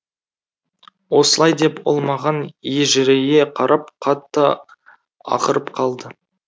осылай деп ол маған ежірейе қарап қатты ақырып қалды